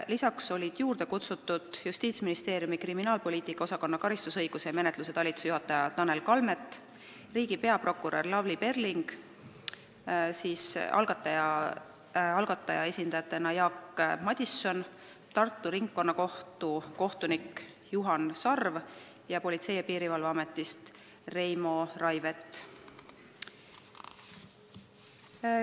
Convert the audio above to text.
Lisaks olid kohale kutsutud Justiitsministeeriumi kriminaalpoliitika osakonna karistusõiguse ja menetluse talituse juhataja Tanel Kalmet, riigi peaprokurör Lavly Perling, algataja esindajatena Jaak Madison, Tartu Ringkonnakohtu kohtunik Juhan Sarv ning Politsei- ja Piirivalveametist Reimo Raivet.